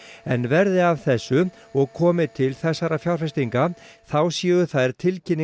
en verði af þessu og komi til fjárfestinga þá séu þær